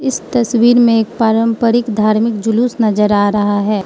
इस तस्वीर में एक पारंपरिक धार्मिक जुलूस नजर आ रहा है।